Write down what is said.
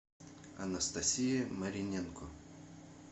анастасия мариненко